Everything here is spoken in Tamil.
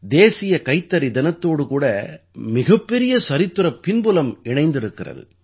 தேசிய கைத்தறி தினத்தோடு கூட மிகப் பெரிய சரித்திரப் பின்புலம் இணைந்திருக்கிறது